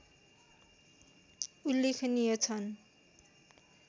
उल्लेखनीय छन्